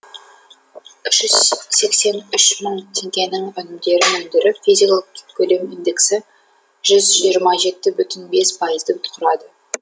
үш жүз сексен үш мың теңгенің өнімдерін өндіріп физикалық көлем индексі жүз жиырма жеті бүтін бес пайызды құрады